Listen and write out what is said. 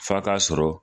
F'a ka sɔrɔ